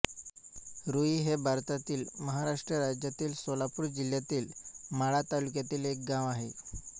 रूई हे भारतातील महाराष्ट्र राज्यातील सोलापूर जिल्ह्यातील माढा तालुक्यातील एक गाव आहे